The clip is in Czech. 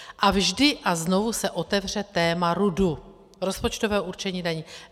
A vždy a znova se otevře téma RUDu - rozpočtového určení daní.